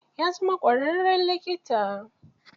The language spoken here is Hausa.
Ya zama ƙwararren likita.